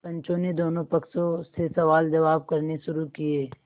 पंचों ने दोनों पक्षों से सवालजवाब करने शुरू किये